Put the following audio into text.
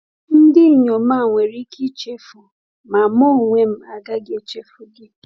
“Ndị inyom a nwere ike ichefu, ma m onwe m agaghị echefu gị.”